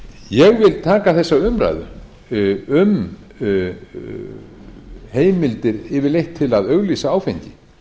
ég vil taka þessa umræðu um heimildir yfirleitt til að auglýsa áfengi